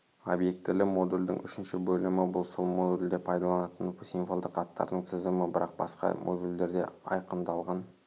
обьектілі модульдің үшінші бөлімі бұл сол модульде пайдаланатын символдық аттардың тізімі бірақ басқа модульдерде айқындалған